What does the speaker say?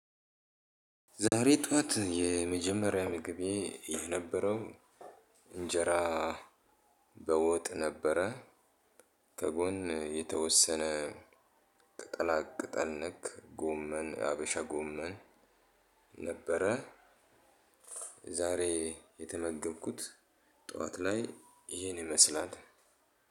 ዛሬ ጠዋት የመጀመሪያ ምግቤ የነበረው እንጀራ በወጥ ነበረ፣ ከጎን የተወሰነ ቅጠላ ቅጠል ነክ ጎመን ሀበሻ ጎመን ነበረ ዛሬ የተመገብኩት ጠዋት ላይ ይሄን ይመስላል።